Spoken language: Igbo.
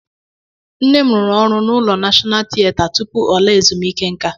Nné m rụrụ ọrụ n'ụlọ Nashọnal tieta tụpụ ọ laa ezumiike nka.